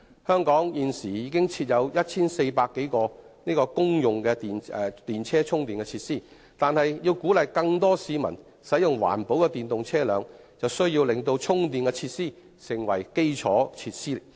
香港現時已經設有 1,400 多個公用電動車充電設施，但要鼓勵更多市民使用環保的電動車輛，必須令到充電設施成為基礎設施。